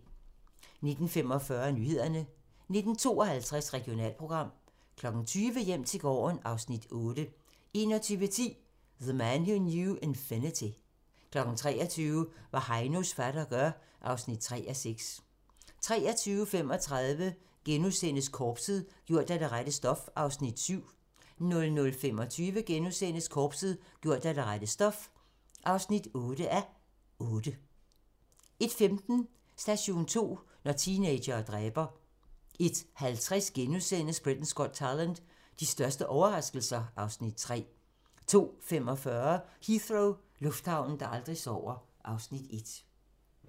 19:45: Nyhederne 19:52: Regionalprogram 20:00: Hjem til gården (Afs. 8) 21:10: The Man Who Knew Infinity 23:00: Hvad Heinos fatter gør (3:6) 23:35: Korpset - gjort af det rette stof (7:8)* 00:25: Korpset - gjort af det rette stof (8:8)* 01:15: Station 2: Når teenagere dræber 01:50: Britain's Got Talent - de største overraskelser (Afs. 3)* 02:45: Heathrow - lufthavnen, der aldrig sover (Afs. 1)